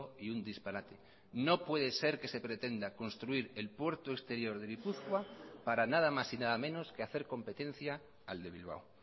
y un disparate no puede ser que se pretenda construir el puerto exterior de gipuzkoa para nada más y nada menos que hacer competencia al de bilbao